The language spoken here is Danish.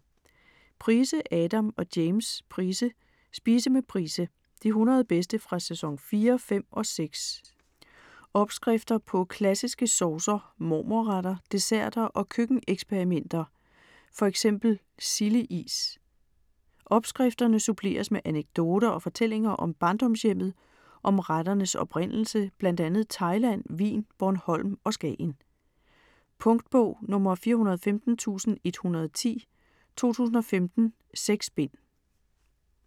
Price, Adam og James Price: Spise med Price: de 100 bedste fra sæson 4, 5 og 6 Opskrifter på klassiske saucer, mormor-retter, desserter og køkken-eksperimenter: fx silde-is. Opskrifterne suppleres med anekdoter og fortællinger om barndomshjemmet, om retternes oprindelse bl.a. Thailand, Wien, Bornholm og Skagen. Punktbog 415110 2015. 6 bind.